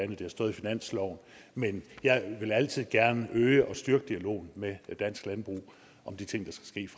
det har stået i finansloven men jeg vil altid gerne øge og styrke dialogen med dansk landbrug om de ting